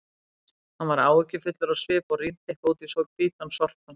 Hann var áhyggjufullur á svip og rýndi eitthvað út í hvítan sortann.